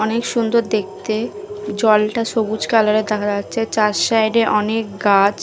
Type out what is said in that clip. অনেক সুন্দর দেখতে জলটা সবুজ কালারের দেখা যাচ্ছে চার সাইডে অনেক গাছ ।